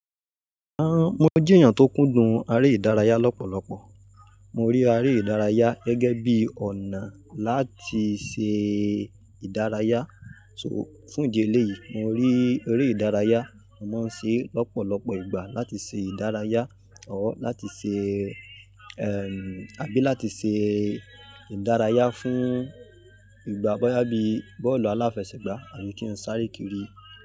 Han-an, mo jẹ́ èèyàn tó kúndùn aré ìdárayá lọ́pọ̀lọpọ̀. Mo rí aré ìdárayá gẹ́gẹ́ bí ọ̀nà láti ṣe ìdárayá. So fún ìdí eléyìí, mo rí eré ìdárayá, mo máa ń ṣe é lọ́pọ̀lọpọ̀ ìgbà láti ṣe ìdárayá, or láti ṣe, ẹm àbí láti ṣe ìdárayá fún ìgbà boyá bí bọ́ọ̀lù aláfẹsẹ̀gbá àbí kí n sáré kiri.